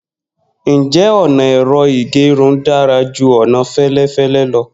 Njẹ ọna ẹ̀rọ ìgẹrun dara ju ọna felefele lọ?